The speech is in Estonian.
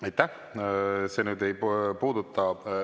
Aitäh!